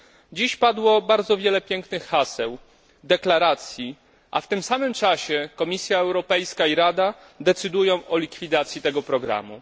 Dziś padło bardzo wiele pięknych haseł, deklaracji, a w tym samym czasie Komisja Europejska i Rada decydują o likwidacji tego programu.